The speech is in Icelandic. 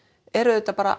er auðvitað bara